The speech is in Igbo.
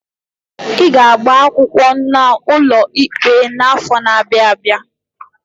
I ga-agba akwụkwọ n'ụlọ ikpe n'afọ n'abia abịa!